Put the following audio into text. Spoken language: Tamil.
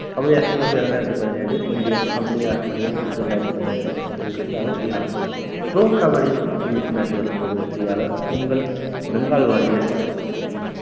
தொள்ளாயிரத்தி இரண்டாயிரத்தி பதினேழு இந்தியா கபடி ஆட்சியில் இரண்டாயிரத்தி பதினெட்டு வெற்றியாளர் ஈரான் pro கபடி league இரண்டாயிரத்தி பத்தொன்பது வெற்றியாளர் உங்கள் பெங்கால் warriors